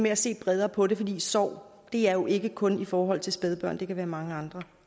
at se bredere på det for sorg er jo ikke kun i forhold til spædbørn der kan være mange andre